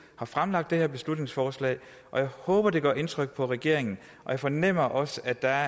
har fremsat det her beslutningsforslag jeg håber at det gør indtryk på regeringen og jeg fornemmer også at der